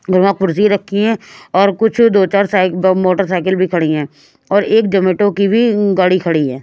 और वहाँ कुर्सी रखी है और कुछ दो-चार मोटरसाइकिल भी खड़ी हैं और एक जमेटो की भी गाड़ी खड़ी है।